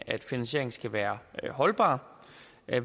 at finansieringen skal være holdbar